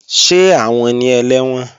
Ṣé àwọn ni ẹlẹ́wọ̀n?